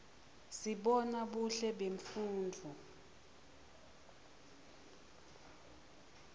sibona buhle bemfundvo